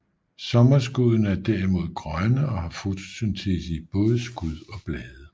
Sommerskuddene er derimod grønne og har fotosyntese i både skud og blade